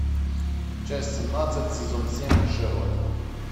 часть семнадцать сезон семь шерлок